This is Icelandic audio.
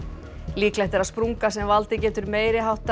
líklegt er að sprunga sem valdið getur meiri háttar